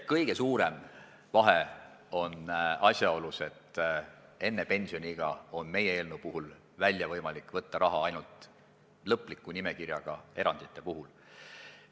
Kõige suurem vahe on asjaolus, et enne pensioniiga on meie eelnõu puhul võimalik raha välja võtta ainult lõplikku nimekirja kuuluvate erandite puhul.